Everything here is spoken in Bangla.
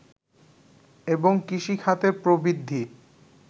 এবং কৃষি খাতের প্রবৃদ্ধি